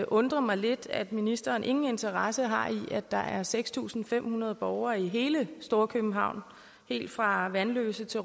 undre mig lidt at ministeren ingen interesse har i at der er seks tusind fem hundrede borgere i hele storkøbenhavn helt fra vanløse til